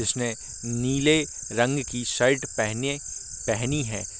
उसने नीले रंग की शर्ट पेहेने पेहनी है।